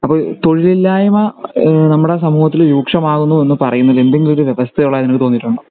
അപ്പൊ തൊഴിലില്ലായ്‌മ ഈഹ് നമ്മുടെ സമൂഹത്തിൽ രൂക്ഷമാകുമോ എന്ന് പറയുന്നത് എന്തെങ്കിലും ഒരു വ്യവസ്ഥ ഉള്ളതായി നിങ്ങൾക് തോന്നിട്ടുണ്ടോ